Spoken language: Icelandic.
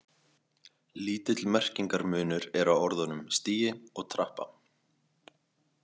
Lítill merkingarmunur er á orðunum stigi og trappa.